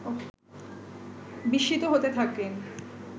বিস্মিত হতে থাকেন